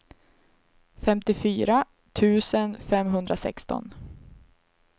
femtiofyra tusen femhundrasexton